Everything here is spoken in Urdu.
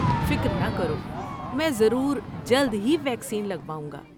فکر نہ کرو، میں ضرور جلد ہی ویکسین لگواؤں گا۔